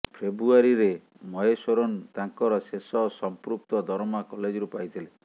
ଫେବୃଆରୀରେ ମହେଶ୍ୱରନ ତାଙ୍କର ଶେଷ ସଂପୃକ୍ତ ଦରମା କଲେଜରୁ ପାଇଥିଲେ